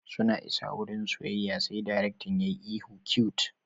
Suna isa wurin soyayya sai darektan yayi ihu cute!